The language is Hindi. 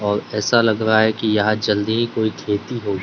और ऐसा लग रहा है कि यहां जल्दी कोई खेती हो--